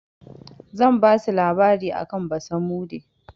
Zan basu labari akan basamude.